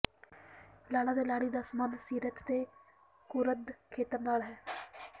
ਲਾੜਾ ਤੇ ਲਾੜੀ ਦਾ ਸਬੰਧ ਸਿਰਤ ਦੇ ਕੁਰਦ ਖੇਤਰ ਨਾਲ ਹੈ